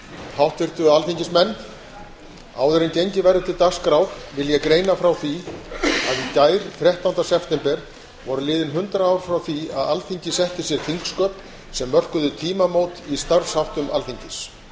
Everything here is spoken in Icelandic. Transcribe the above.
háttvirtir alþingismenn áður en gengið verður til dagskrár vil ég greina frá því að í gær þrettánda september voru liðin hundrað ár frá því að alþingi setti sér þingsköp sem mörkuðu tímamót í starfsháttum alþingis